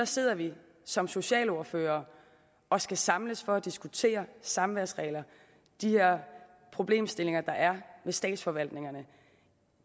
sidder vi som socialordførere og skal samles for at diskutere samværsregler og de her problemstillinger der er med statsforvaltningerne